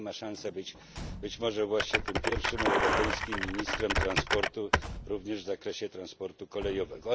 I Pani ma szansę być może właśnie tym pierwszym europejskim ministrem transportu również w zakresie transportu kolejowego.